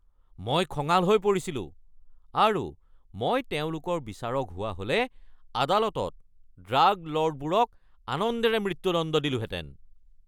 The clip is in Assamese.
মই খঙাল হৈ পৰিছিলো আৰু মই তেওঁলোকৰ বিচাৰক হোৱা হ'লে আদালতত ড্ৰাগ ল'ৰ্ডবোৰক আনন্দেৰে মৃত্যুদণ্ড দিলোহেঁতেন।